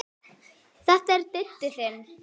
Þetta er Diddi þinn.